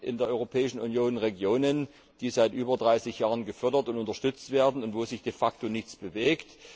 Es gibt in der Europäischen Union Regionen, die seit über 30 Jahren gefördert und unterstützt werden und wo sich de facto nichts bewegt.